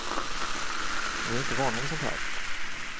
Vi är inte vana vid sånt här.